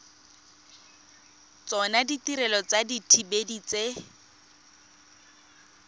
tsona ditirelo tsa dithibedi tse